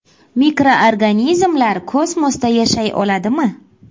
– Mikroorganizmlar kosmosda yashay oladimi ?